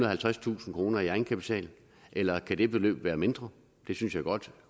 og halvtredstusind kroner i egenkapital eller kan det beløb være mindre det synes jeg godt